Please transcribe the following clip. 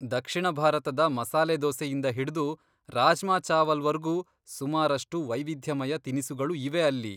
ದಕ್ಷಿಣ ಭಾರತದ ಮಸಾಲೆ ದೋಸೆಯಿಂದ ಹಿಡ್ದು ರಾಜ್ಮಾ ಚಾವಲ್ವರ್ಗೂ ಸುಮಾರಷ್ಟು ವೈವಿಧ್ಯಮಯ ತಿನಿಸುಗಳು ಇವೆ ಅಲ್ಲಿ.